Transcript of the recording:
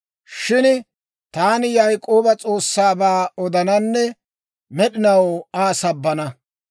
Shin taani Yaak'ooba S'oossaabaa odananne med'inaw Aa sabbana.